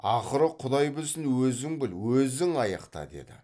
ақыры құдай білсін өзің біл өзің аяқта деді